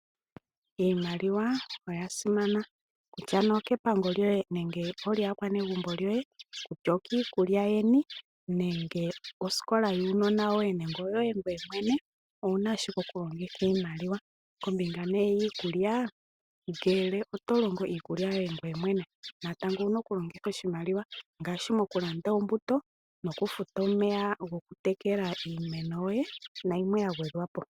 Iimaliwa oyasimana okutya nee okepango lyoye nenge olyaakwanegumbo yoye ,kutya okiikulya yeni, nenge osikola yuunona woye nenge oyoye ngoye mwene owuna ashike okulongitha iimaliwa. Kombinga nee yiikulya ngele otolongo iikulya yoye ngoye mwene natango owuna okulongitha oshimaliwa ngaashi mokulanda ombuto ,okufuta omeya goku tekela iimeno nayimwe ya gwedhwapo.